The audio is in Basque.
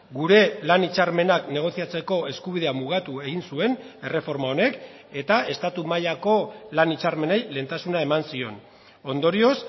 gure lan hitzarmenak negoziatzeko eskubidea mugatu egin zuen erreforma honek eta estatu mailako lan hitzarmenei lehentasuna eman zion ondorioz